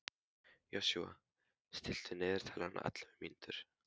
Joshua, stilltu niðurteljara á ellefu mínútur.